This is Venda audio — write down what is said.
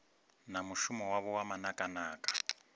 na mushumo wavho wa manakanaka